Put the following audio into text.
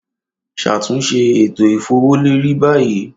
Ṣatunṣe eto ifowoleri bayi